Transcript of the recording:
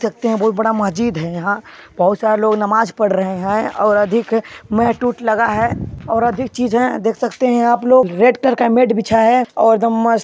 देख सकते है बहुत बड़ा मस्जिद है यहाँ बहुत सारा लोग नमाज़ पड़ रहे है और अधिक मेट - उट लगा है और अधिक चीज है देख सकते है आप लोग रेड कलर का मेट बिछा है और एदम मस्त --